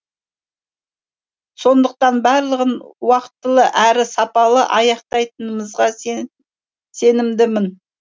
сондықтан барлығын уақытылы әрі сапалы аяқтайтынымызға сенімдімін